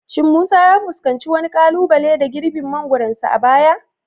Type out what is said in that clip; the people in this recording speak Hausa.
Shin Musa ya fuskanci wani kalubale da girbin mangoronsa a baya?